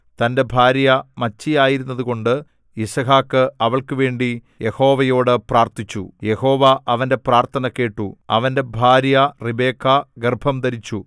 തന്റെ ഭാര്യ മച്ചിയായിരുന്നതുകൊണ്ട് യിസ്ഹാക്ക് അവൾക്കുവേണ്ടി യഹോവയോടു പ്രാർത്ഥിച്ചു യഹോവ അവന്റെ പ്രാർത്ഥന കേട്ടു അവന്റെ ഭാര്യ റിബെക്കാ ഗർഭംധരിച്ചു